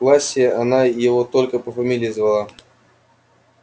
в классе она его только по фамилии звала